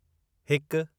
हिकु